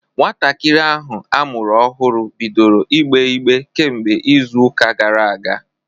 Nwatakịrị ahụ amụrụ ọhụrụ bidoro ìgbè ígbé kemgbe izu ụka gara aga.